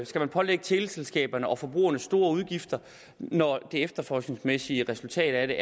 skal pålægge teleselskaberne og forbrugerne store udgifter når det efterforskningsmæssige resultat af